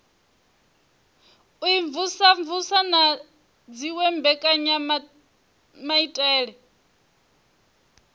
u imvumvusa na dziwe mbekanyamaitele